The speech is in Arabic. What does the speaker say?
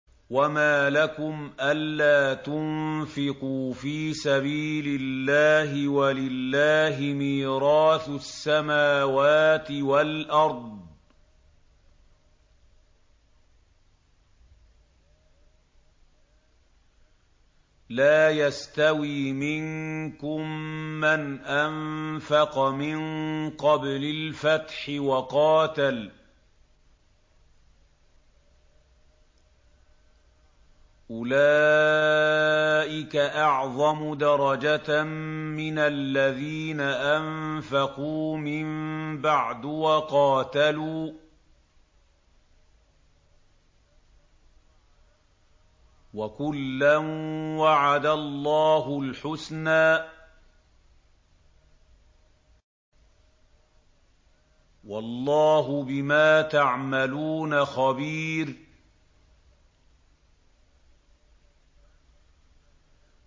وَمَا لَكُمْ أَلَّا تُنفِقُوا فِي سَبِيلِ اللَّهِ وَلِلَّهِ مِيرَاثُ السَّمَاوَاتِ وَالْأَرْضِ ۚ لَا يَسْتَوِي مِنكُم مَّنْ أَنفَقَ مِن قَبْلِ الْفَتْحِ وَقَاتَلَ ۚ أُولَٰئِكَ أَعْظَمُ دَرَجَةً مِّنَ الَّذِينَ أَنفَقُوا مِن بَعْدُ وَقَاتَلُوا ۚ وَكُلًّا وَعَدَ اللَّهُ الْحُسْنَىٰ ۚ وَاللَّهُ بِمَا تَعْمَلُونَ خَبِيرٌ